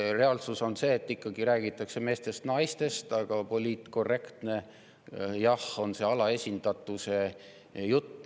Reaalsus on see, et räägitakse meestest ja naistest, aga poliitkorrektne on jah see alaesindatuse jutt.